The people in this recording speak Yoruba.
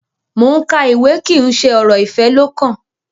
Mo n ka ìwé kí n ṣe ọrọ ifẹ lọkàn.